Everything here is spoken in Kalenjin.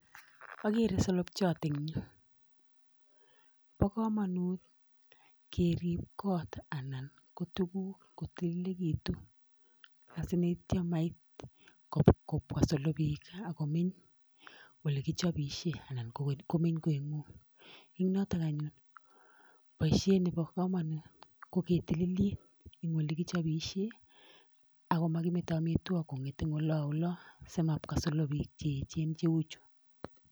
agere wsolopchot eng nyuu pakamanut ketil olekichopishen amun mitei solopik olematili kongunoo komeche ketilil kot ak olekichopee amitwafgik